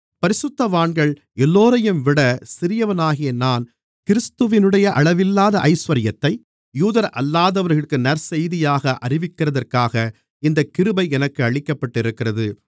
பரிசுத்தவான்கள் எல்லோரையும்விட சிறியவனாகிய நான் கிறிஸ்துவினுடைய அளவில்லாத ஐசுவரியத்தை யூதரல்லாதவர்களுக்கு நற்செய்தியாக அறிவிக்கிறதற்காக இந்தக் கிருபை எனக்கு அளிக்கப்பட்டிருக்கிறது